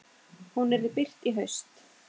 Hún yrði birt í haust.